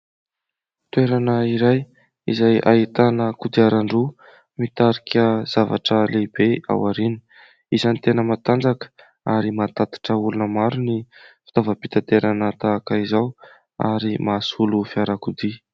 Toerana iray izay ahitana kodiaran-droa mitarika zavatra lehibe aorina ; isany tena matanjaka ary mahatatitra olona maro ny fitaovam-pitaterana tahaka izao ary mahasolo fiarakodia.